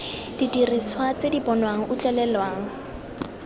didiriswa tse di bonwang utlwelelwang